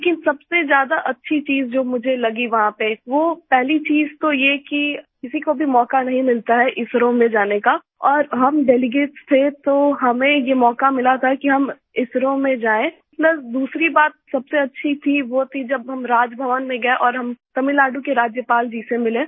लेकिन सबसे ज्यादा अच्छी चीज जो मुझे लगी वहाँ पे वो पहली चीज़ तो ये कि किसी को भी मौका नहीं मिलता है इसरो में जाने का और हम डेलीगेट्स थे तो हमें ये मौका मिला था कि हम इसरो में जाएँPlus दूसरी बात सबसे अच्छी थी वो जब हम राजभवन में गए और हम तमिलनाडु के राज्यपाल जी से मिले